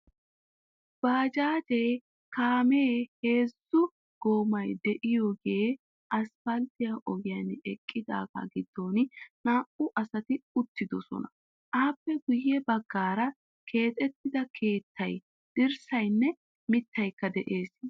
Baajjajje kaamee heezzu goommay de'iyogee asppaltte ogiyan eqiidaaga giddon naa"u asati uttiddossona. Appe guye baggaara keexxettida keettay, dirssaynne mittaykka de'ees.